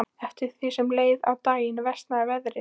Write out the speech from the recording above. Eftir því sem leið á daginn versnaði veðrið.